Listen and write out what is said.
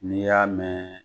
N'i y'a mɛn